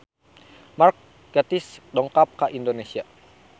Mark Gatiss dongkap ka Indonesia